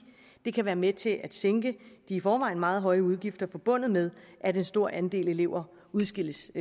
det kan være med til at sænke de i forvejen meget høje udgifter forbundet med at en stor andel elever udskilles